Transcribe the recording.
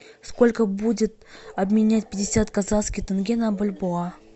сколько будет обменять пятьдесят казахских тенге на бальбоа